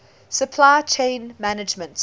supply chain management